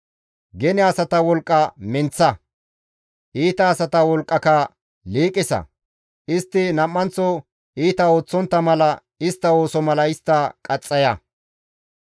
Gene asata wolqqa menththa; iita asata wolqqaka liiqisa; istti nam7anththo iita ooththontta mala istta ooso mala istta qaxxaya.